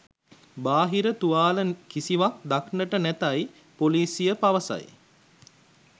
බාහිර තුවාල කිසිවක්‌ දක්‌නට නැතැයිද පොලිසිය පවසයි